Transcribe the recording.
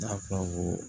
N'a fɔra ko